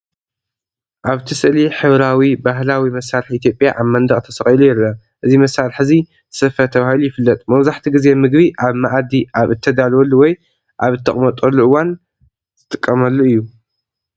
ኣብቲ ስእሊ፡ ሕብራዊ፡ ባህላዊ መሳርሒ ኢትዮጵያ ኣብ መንደቕ ተሰቒሉ ይርአ። እዚ መሳርሒ እዚ “ስፈ” ተባሂሉ ይፍለጥ፣ መብዛሕትኡ ግዜ ምግቢ ኣብ መኣዲ ኣብ እተዳልወሉ ወይ ኣብ እተቐምጠሉ እዋን ዚጥቀመሉ እዩ።